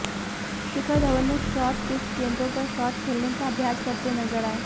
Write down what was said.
शिखर धवन ने short pitch गेंदों पर शॉट खेलने का अभ्यास करते नजर आए